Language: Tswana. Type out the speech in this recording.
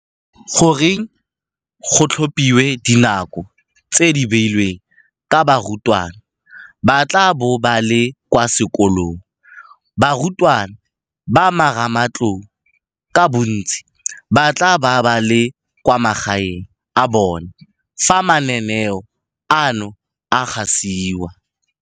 Goreng go tlhophilwe dinako tse di beilweng ka barutwana ba tla bo ba le kwa sekolong? Barutwana ba marematlou ka bontsi ba tla bo ba le kwa magaeng a bona fa mananeo ano a gasiwa.